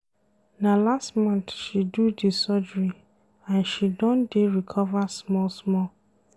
Na last month she do di surgery and she don dey recover small-small.